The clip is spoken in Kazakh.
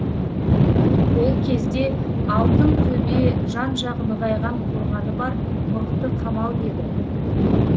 ол кезде алтынтөбе жан жағы нығайған қорғаны бар мықты қамал еді